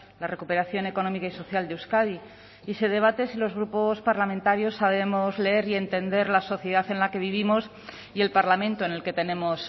la recuperación económica y social de euskadi y se debate si los grupos parlamentarios sabemos leer y entender la sociedad en la que vivimos y el parlamento en el que tenemos